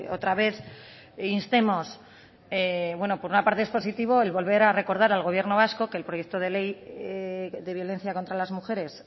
otra vez instemos por una parte es positivo el volver a recordar al gobierno vasco que el proyecto de ley de violencia contra las mujeres